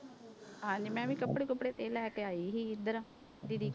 ਹਾਂਜੀ ਮੈਂ ਵੀ ਕੱਪੜੇ ਕੁੱਪੜੇ ਤੇ ਲੈ ਕੇ ਆਈ ਸੀ ਇੱਧਰ, ਦੀਦੀ